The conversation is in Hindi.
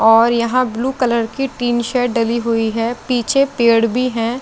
और यहां ब्लू कलर की टीन सेट डली हुई है पीछे पेड़ भी है।